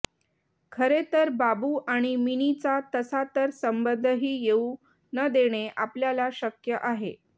खरे तर बाबू आणि मिनीचा तसा तर संबंधही येऊ न देणे आपल्याला शक्य आहे